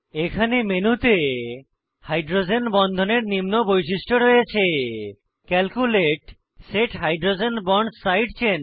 এখানে মেনুতে হাইড্রোজেন বন্ধনের নিম্ন বৈশিষ্ট্য রয়েছে calculate set hydrogen bonds side chain